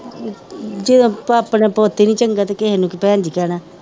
ਜੇ ਆਪਣਾ ਪੁੱਤ ਹੀ ਨੀ ਚੰਗਾ ਤੇ ਕਿਸੇ ਨੂੰ ਕਿ ਭੈਣ ਜੀ ਕਹਿਣਾ